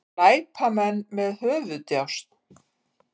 Glæpamenn með höfuðdjásn